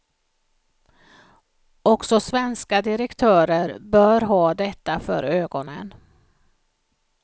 Också svenska direktörer bör ha detta för ögonen.